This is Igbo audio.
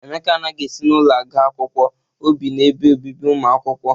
Emeka anaghị esi n'ụlọ aga akwụkwọ, o bi n'ebe obibi ụmụ akwụkwọ.